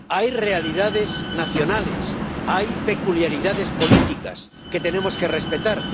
Hay realidades nacionales, hay peculiaridades políticas que tenemos que respetar.